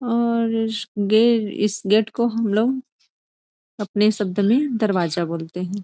और इस गे इस गेट को हम लोग अपने शब्द में दरवाजा बोलते है।